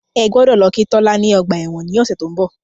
Ẹ gbọ́dọ̀ lọ kí Tolani ní ọgbà ẹ̀wọ̀n ní ọ̀sẹ̀ tí ó ń bọ̀.